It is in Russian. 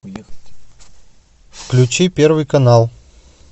включи первый канал